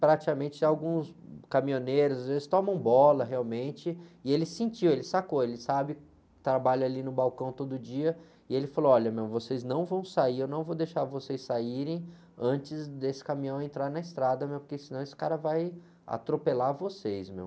praticamente alguns caminhoneiros, eles tomam bola, realmente, e ele sentiu, ele sacou, ele sabe, trabalha ali no balcão todo dia, e ele falou, olha, meu, vocês não vão sair, eu não vou deixar vocês saírem antes desse caminhão entrar na estrada, meu, porque senão esse cara vai atropelar vocês, meu.